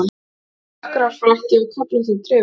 Dökkgrár frakki og köflóttur trefill.